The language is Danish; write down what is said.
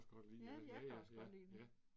Ja jeg kan også godt lide det